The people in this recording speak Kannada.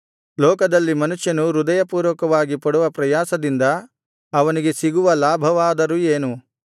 ಲೋಕದಲ್ಲಿ ಮನುಷ್ಯನು ಹೃದಯಪೂರ್ವಕವಾಗಿ ಪಡುವ ಪ್ರಯಾಸದಿಂದ ಅವನಿಗೆ ಸಿಗುವ ಲಾಭವಾದರೂ ಏನು